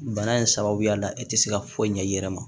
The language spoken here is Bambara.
Bana in sababuya la e te se ka foyi ɲɛ i yɛrɛ ma